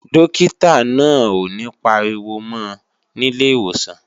Dókítà náà ò ní pariwo mọ́ ọ nílé ìwòsàn